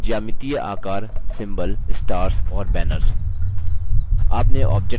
बुनियादी geometric आकार symbols stars और banners